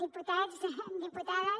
diputats diputades